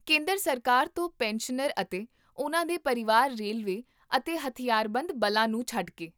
ਕੇਂਦਰ ਸਰਕਾਰ ਤੋਂ ਪੈਨਸ਼ਨਰ ਅਤੇ ਉਨ੍ਹਾਂ ਦੇ ਪਰਿਵਾਰ ਰੇਲਵੇ ਅਤੇ ਹਥਿਆਰਬੰਦ ਬਲਾਂ ਨੂੰ ਛੱਡ ਕੇ